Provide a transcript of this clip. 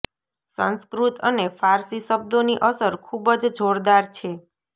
સંસ્કૃત અને ફારસી શબ્દોની અસર ખૂબ જ જોરદાર છે